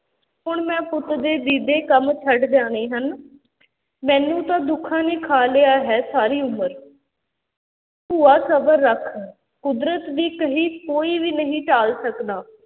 ਹੁਣ ਮੈਂ ਪੁੱਤ ਦੇ ਦੀਦੇ ਕੰਮ ਛੱਡ ਜਾਣੇ ਹਨ ਮੈਨੂੰ ਤਾਂ ਦੁੱਖਾਂ ਨੇ ਖਾ ਲਿਆ ਹੈ ਸਾਰੀ ਉਮਰ ਭੂਆ ਸਬਰ ਰੱਖ, ਕੁਦਰਤ ਦੀ ਕਹੀ ਕੋਈ ਵੀ ਨਹੀਂ ਟਾਲ ਸਕਦਾ।